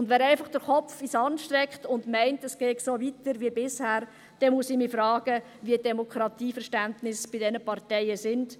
Und wenn jemand einfach den Kopf in den Sand steckt und meint, es gehe so weiter wie bisher, dann muss ich mich fragen, welches Demokratieverständnis diese Parteien haben.